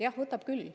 Jah, võtab küll.